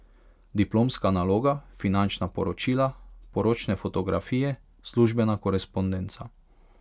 Diplomska naloga, finančna poročila, poročne fotografije, službena korespondenca.